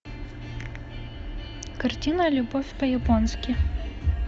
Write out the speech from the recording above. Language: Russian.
картина любовь по японски